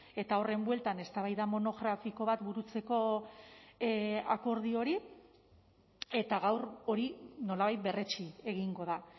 eta horren bueltan eztabaida monografiko bat burutzeko akordio hori eta gaur hori nolabait berretsi egingo da